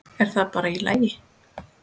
Er það bara í lagi?